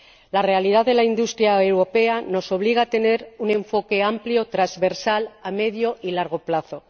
La realidad de la industria europea nos obliga a tener un enfoque amplio, transversal, a medio y largo plazo.